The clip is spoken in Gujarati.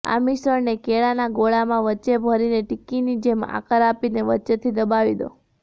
આ મિશ્રણને કેળાના ગોળામાં વચ્ચે ભરીને ટીક્કીની જેમ આકાર આપીને વચ્ચેથી દબાવી દો